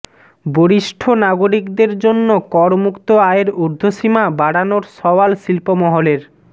বরিষ্ঠ নাগরিকদের জন্য করমুক্ত আয়ের উর্ধ্বসীমা বাডা়নোর সওয়াল শিল্পমহলের